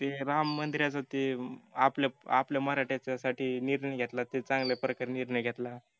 ते राम मंदिराच ते आपल्या मराठ्यांसाठीजाे निर्णय घेतला तो चांगलाप्रकारे निर्णय घेतला